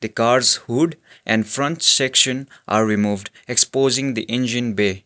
the car's hood and front section are removed exposing the engine bay.